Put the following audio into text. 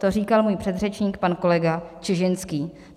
To říkal můj předřečník pan kolega Čižinský.